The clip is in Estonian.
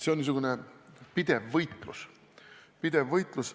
See on niisugune pidev võitlus.